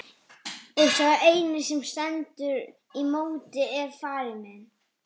Og sá eini sem stendur í móti er faðir minn!